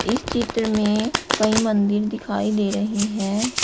इस चित्र में कई मंदिल दिखाई दे रही है।